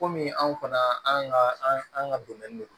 Komi anw kɔni an ka an ka don